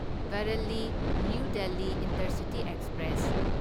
Bareilly new Delhi intercity express